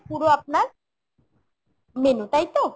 পুরো আপনার menu, তাই তো ?